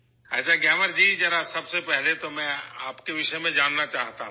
اچھا گیامر جی، سب سے پہلے میں آپ کے بارے میں جاننا چاہتا ہوں